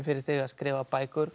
þig að skrifa bækur